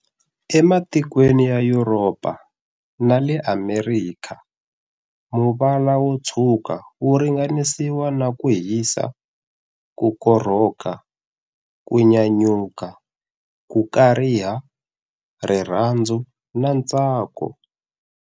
E matikweni ya Yuropa na le Amerikha, muvala wo tshwuka wu ringanisiwa na kuhisa, ku korhoka, kunyanyuka, ku kariha, rirhandzu na ntsako.